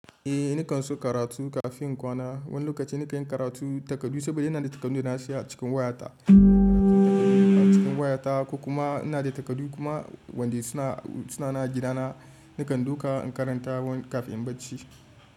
Eh nikan so karatu kafin in kwana. Wani lokaci nika yin karatu takardu saboda ina da takardu na siya a cikin wayata. A cikin wayata ko kuma ina da takardu kuma wanda suna, suna na a gidana. Nikan duka in karanta wani kafin in bacci.